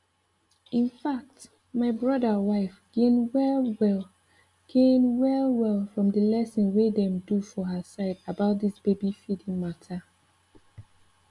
in fact my brother wife gain well well gain well well from the lesson wey dem do for her side about this baby feeding matter